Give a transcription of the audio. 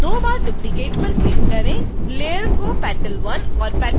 दो बार duplicate पर क्लिक करें